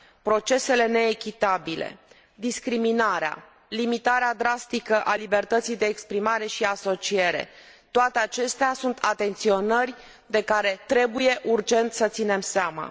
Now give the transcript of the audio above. procesele neechitabile, discriminarea, limitarea drastică a libertății de exprimare și asociere, toate acestea sunt atenționări de care trebuie urgent să ținem seama.